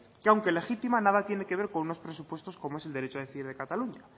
que aunque legítima nada tiene que ver con unos presupuestos como es el derecho de decidir de cataluña